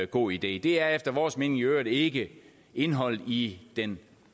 god idé det er efter vores mening i øvrigt ikke indholdet i den